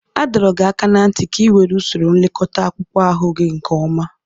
A dọrọ gị aka ná ntị ka ị were usoro nlekọta akpụkpọ ahụ gị nke ọma!